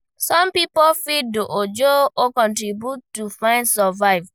Some pipo fit do ajo or contribution to fit survive